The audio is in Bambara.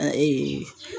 A ee